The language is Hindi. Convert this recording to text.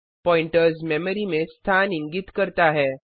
प्वॉइंटर्स मेमरी में स्थान इंगित करता है